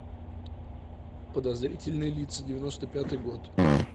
подозрительные лица девяносто пятый год